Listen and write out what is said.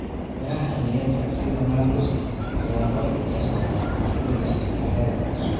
Miraha xilliyeedka sida mango ayaa aad loo jecel yahay xilliga xagaaga.